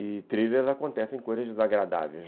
E thrillers acontecem em coisas desagradáveis.